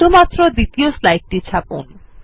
শুধুমাত্র দ্বিতীয় স্লাইডটি ছাপুন